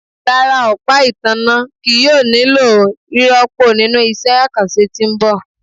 Rara, ọpa itanna kii yoo nilo rirọpo ninu iṣẹ akanṣe ti n bọ